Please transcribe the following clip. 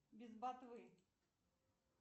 без ботвы